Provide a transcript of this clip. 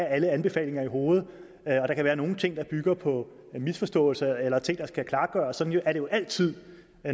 alle anbefalingerne i hovedet og der kan være nogle ting der bygger på misforståelser eller ting der skal klargøres sådan er det jo altid